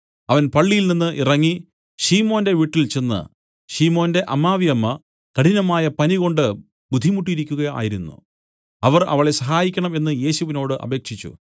അവൻ പള്ളിയിൽനിന്ന് ഇറങ്ങി ശിമോന്റെ വീട്ടിൽചെന്ന് ശിമോന്റെ അമ്മാവിയമ്മ കഠിനമായ പനി കൊണ്ട് ബുദ്ധിമുട്ടിയിരിക്കുക ആയിരുന്നു അവർ അവളെ സഹായിക്കണം എന്നു യേശുവിനോടു അപേക്ഷിച്ചു